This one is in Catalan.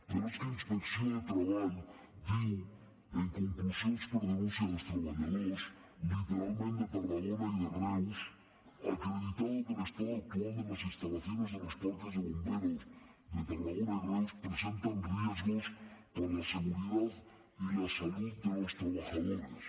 però és que inspecció de treball diu en conclusions per denúncia dels treballadors literalment de tarragona i de reus acreditado que el estado actual de las instalaciones de los parques de bomberos de tarragona y reus presentan riesgos para la seguridad y la salud de los trabajadores